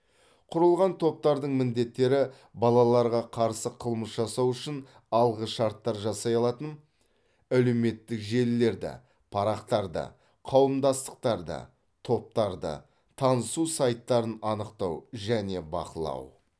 құрылған топтардың міндеттері балаларға қарсы қылмыс жасау үшін алғышарттар жасай алатын әлеуметтік желілерді парақтарды қауымдастықтарды топтарды танысу сайттарын анықтау және бақылау